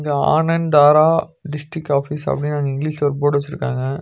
ஆனந் தாரா district office அப்டின்னு அங்க இங்கிலீஷ்ல ஒரு போர்டு வெச்சிருக்காங்க.